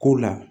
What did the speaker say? Ko la